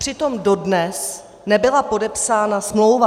Přitom dodnes nebyla podepsána smlouva.